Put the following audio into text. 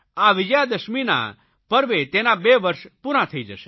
આ વિજયાદશમીના પર્વે તેના બે વર્ષ પૂરા થઇ જશે